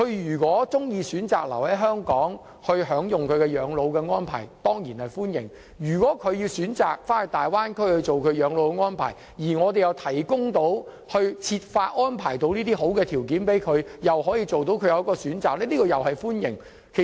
如果他們喜歡留在香港享用本地的養老的安排，當然歡迎；如果他們選擇回到大灣區養老，我們又可以設法安排好的條件，讓他們有所選擇。